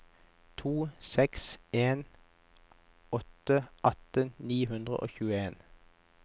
to seks en åtte atten ni hundre og tjueen